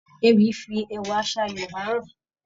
Ewì ń fi ẹwà àṣà Yorúbá hàn.